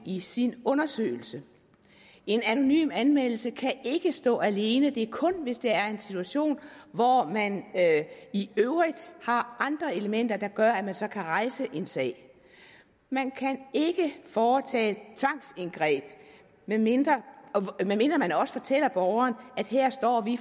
i sin undersøgelse en anonym anmeldelse kan ikke stå alene det er kun hvis der er en situation hvor man i øvrigt har andre elementer der gør at man så kan rejse en sag man kan ikke foretage tvangsindgreb medmindre man også fortæller borgeren at her står